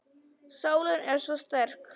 Sólin er svo sterk.